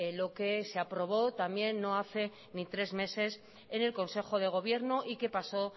lo que se aprobó también no hace ni tres meses en el consejo de gobierno y que pasó